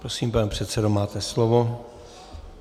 Prosím, pane předsedo, máte slovo.